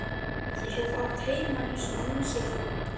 Ég hef átt heima í svona húsi áður.